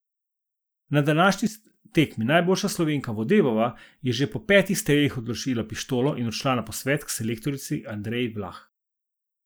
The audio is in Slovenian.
Na današnji tekmi najboljša Slovenka Vodebova je že po petih strelih odložila pištolo in odšla na posvet k selektorici Andreji Vlah.